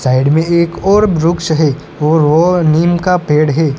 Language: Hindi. साइड में एक और व्रुक्ष है और वो नीम का पेड़ है।